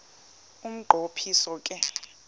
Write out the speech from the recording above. umnqo phiso ke